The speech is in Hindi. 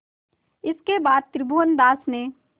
इसके बाद त्रिभुवनदास ने